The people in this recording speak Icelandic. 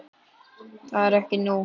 Það er ekki nóg.